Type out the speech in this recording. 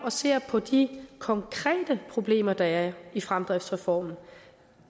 og ser på de konkrete problemer der er i fremdriftsreformen